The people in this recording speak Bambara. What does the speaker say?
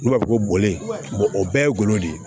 N'u b'a fɔ ko bɔlen o bɛɛ ye golo de ye